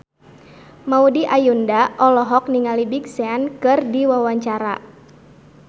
Maudy Ayunda olohok ningali Big Sean keur diwawancara